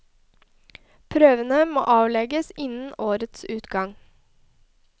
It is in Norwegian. Prøvene må avlegges innen årets utgang.